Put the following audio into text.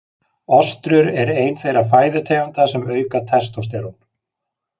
Ostrur er ein þeirra fæðutegunda sem auka testósterón.